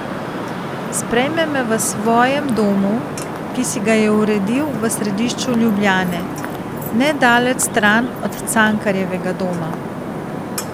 Sprejme me v svojem domu, ki si ga je uredil v središču Ljubljane, nedaleč stran od Cankarjevega doma.